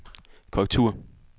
korrektur